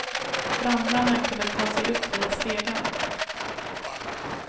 Brandmännen kunde ta sig upp via stegen.